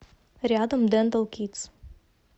рядом дентал кидс